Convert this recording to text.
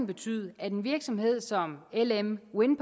betyde at en virksomhed som lm wind